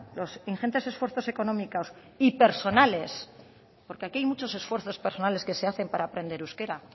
los ingentes esfuerzos económicos y personales porque aquí hay muchos esfuerzos personales que se hacen para aprender euskera